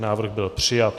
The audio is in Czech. Návrh byl přijat.